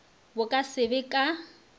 bo ka se be ka